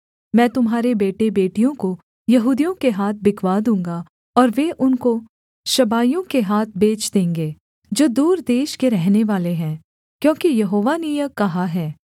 मैं तुम्हारे बेटेबेटियों को यहूदियों के हाथ बिकवा दूँगा और वे उनको शबाइयों के हाथ बेच देंगे जो दूर देश के रहनेवाले हैं क्योंकि यहोवा ने यह कहा है